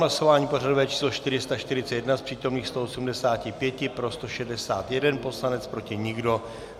Hlasování pořadové číslo 441: z přítomných 185 pro 161 poslanec, proti nikdo.